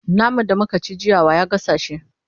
naman da muka ci jiya wa ya gasa shi?